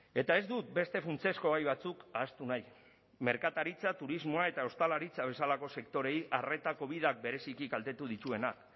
eta ez dut beste funtsezko gai batzuk ahaztu nahi merkataritza turismoa eta ostalaritza bezalako sektoreei arreta covidak bereziki kaltetu dituenak